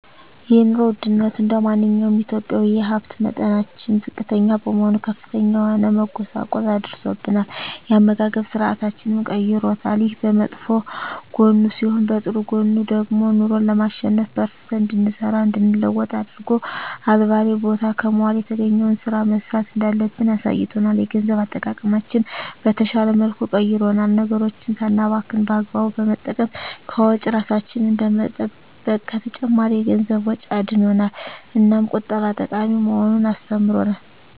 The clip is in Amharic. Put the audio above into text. የኑሮ ወድነቱ እንደማንኛውም ኢትዮጵያዊ የሀብት መጠናችን ዝቅተኛ በመሆኑ ከፍተኛ የሆነ መጎሳቆል አድርሶብናል የአመጋገብ ስርአታችንንም ቀይሮታል። ይሄ በመጥፎ ጎኑ ሲሆን በጥሩ ጎኑ ደግሞ ኑሮን ለማሸነፍ በርትተን እንድንሰራ እንድንለወጥ አድርጎ አልባሌ ቦታ ከመዋል የተገኘዉን ስራ መስራት እንዳለብን አሳይቶናል። የገንዘብ አጠቃቀማችንን በተሻለ መልኩ ቀይሮልናል ነገሮችን ሳናባክን በአግባቡ በመጠቀም ከወጪ እራሳችንን በመጠበቅ ከተጨማሪ የገንዘብ ወጪ አድኖናል። እናም ቁጠባ ጠቃሚ መሆኑን አስተምሮናል።